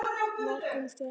Nær komumst við ekki.